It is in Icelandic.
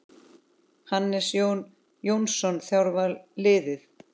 Hannes Jón Jónsson þjálfar liðið.